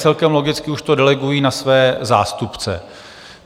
Celkem logicky už to delegují na své zástupce.